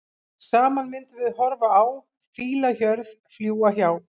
Saman myndum horfa á fílahjörð, fljúga hjá.